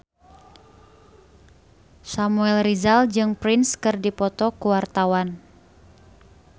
Samuel Rizal jeung Prince keur dipoto ku wartawan